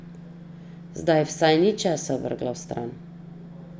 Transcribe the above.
Zdaj vsaj ni česa vrgla stran.